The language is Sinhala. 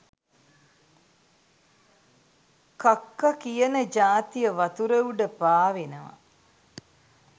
කක්ක කියන ජාතිය වතුර උඩ පාවෙනව.